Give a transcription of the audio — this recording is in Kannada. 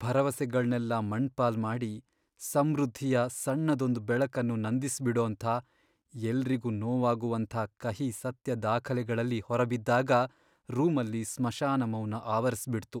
ಭರವಸೆಗಳ್ನೆಲ್ಲ ಮಣ್ಣ್ಪಾಲ್ ಮಾಡಿ, ಸಮೃದ್ಧಿಯ ಸಣ್ಣದೊಂದ್ ಬೆಳಕನ್ನು ನಂದಿಸ್ಬಿಡೋಂಥ, ಎಲ್ರಿಗೂ ನೋವಾಗುವಂಥ ಕಹಿ ಸತ್ಯ ದಾಖಲೆಗಳಲ್ಲಿ ಹೊರಬಿದ್ದಾಗ ರೂಮಲ್ಲಿ ಸ್ಮಶಾನ ಮೌನ ಆವರಿಸ್ಬಿಡ್ತು.